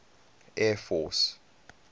air force